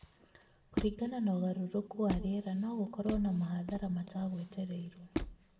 kũringana na ũgarũrũku wa rĩera no gũkurũo na mahathara mataqw̅etercĩrũo